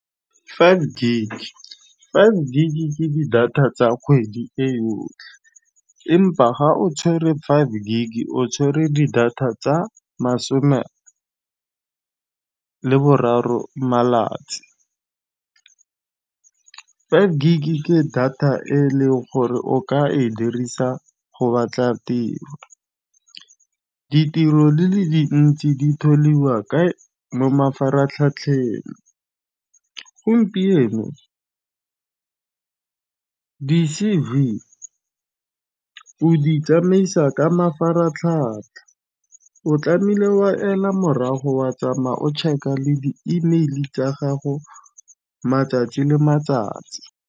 Five gig ke di data tsa kgwedi e yotlhe empa ga o tshwere five gig o tshwere di data tsa masome leboraro malatsi. Five gig ke data e leng gore o ka e dirisa go batla tiro. Ditiro le le dintsi mo mafaratlhatlheng gompieno. Di-C_V o di tsamaisa ka mafaratlhatlha o tlameile wa ela morago wa tsamaya o check-a le di-email tsa gago matsatsi le matsatsi.